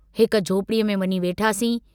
हिक झोपड़ीअ में वञी वेठासीं।